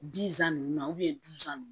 ninnu na nunnu